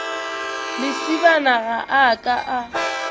lesibana ga a ka a